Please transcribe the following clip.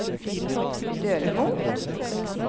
Dølemo